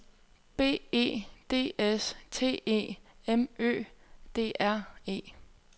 B E D S T E M Ø D R E